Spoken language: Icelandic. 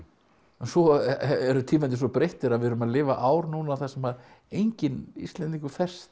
svo eru tímarnir svo breyttir að við erum að lifa ár núna þar sem enginn Íslendingur ferst